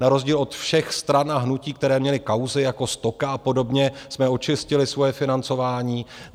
Na rozdíl od všech stran a hnutí, které měly kauzy jako Stoka a podobně, jsme očistili svoje financování.